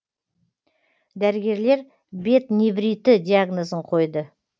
дәрігерлер бет невриті диагнозын қойды